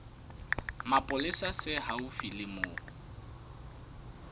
mapolesa se haufi le moo